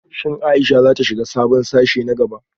Shin Ayesha za ta shiga sabon sashe na gaba?